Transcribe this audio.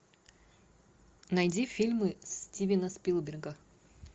найди фильмы стивена спилберга